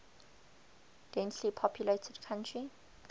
densely populated country